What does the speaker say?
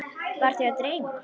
Var þau að dreyma?